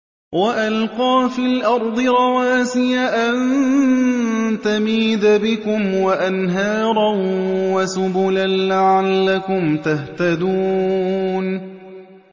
وَأَلْقَىٰ فِي الْأَرْضِ رَوَاسِيَ أَن تَمِيدَ بِكُمْ وَأَنْهَارًا وَسُبُلًا لَّعَلَّكُمْ تَهْتَدُونَ